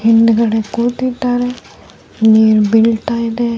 ಹಿಂದ್ಗಡೆ ಕೂತಿದ್ದಾರೆ ನೀರ್ ಬೀಳ್ತಾ ಇದೆ .